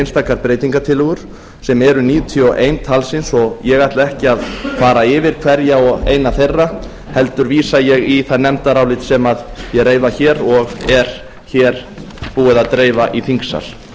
einstaka breytingartillögur sem er níutíu og eitt talsins og ég ætla ekki að fara yfir hverja og eina þeirra heldur vísa ég í það nefndarálit sem ég reifa hér og er hér búið að dreifa í þingsal